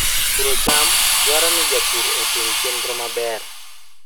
Puro cham dwaro ni japur otim chenro maber.